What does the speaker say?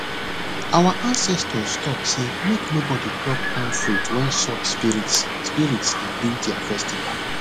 our ancestors talk say make nobody pluck palm fruit when soil spirits spirits dey do their festival